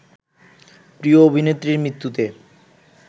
প্রিয় অভিনেত্রীর মৃত্যুতে